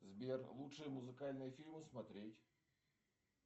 сбер лучшие музыкальные фильмы смотреть